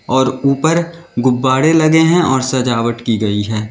और ऊपर गुब्बाड़े लगे हैं और सजावट की गई है।